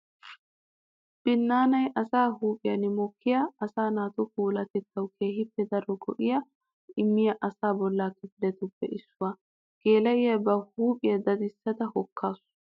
Binnaanay asaa huuphiyan mokkiya asaa naatu puulatettawu keehippe daro go'a immiya asaa bolla kifilettuppe issuwa. Geela'iya ba huuphiya daddisadda hokkaasu.